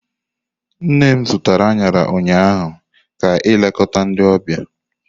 Nne m zụtara añara ụnyaahụ ka ilekota ndi ọbịa.